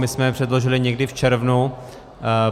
My jsme je předložili někdy v červnu.